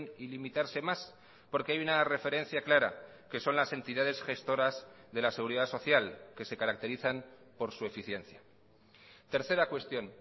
y limitarse más porque hay una referencia clara que son las entidades gestoras de la seguridad social que se caracterizan por su eficiencia tercera cuestión